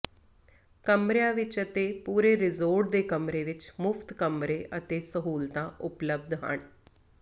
ਕਮਰਿਆਂ ਵਿੱਚ ਅਤੇ ਪੂਰੇ ਰਿਜ਼ੋਰਟ ਦੇ ਕਮਰੇ ਵਿੱਚ ਮੁਫਤ ਕਮਰੇ ਅਤੇ ਸਹੂਲਤਾਂ ਉਪਲਬਧ ਹਨ